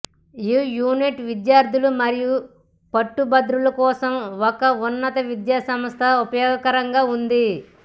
ఈ యూనిట్ విద్యార్థులు మరియు పట్టభద్రులు కోసం ఒక ఉన్నత విద్య సంస్థ ఉపయోగకరంగా ఉంది